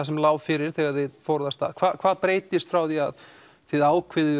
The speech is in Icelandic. sem lá fyrir þegar þið fóruð af stað hvað breytist frá því að þið ákveðið